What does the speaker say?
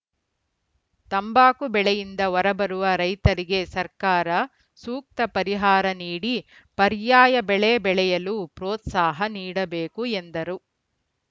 ತಂಬಾಕು ಬೆಳೆಯಿಂದ ಹೊರಬರುವ ರೈತರಿಗೆ ಸರ್ಕಾರ ಸೂಕ್ತ ಪರಿಹಾರ ನೀಡಿ ಪರ್ಯಾಯ ಬೆಳೆ ಬೆಳೆಯಲು ಪ್ರೋತ್ಸಾಹ ನೀಡಬೇಕು ಎಂದರು